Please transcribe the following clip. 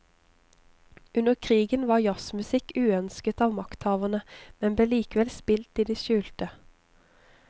Under krigen var jazzmusikk uønsket av makthaverne, men ble likevel spilt i det skjulte.